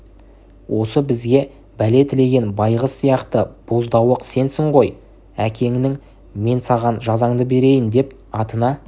осы бізге бәле тілеген байғыз сияқты боздауық сенсің ғой әкеңнің мен саған жазаңды берейін деп атына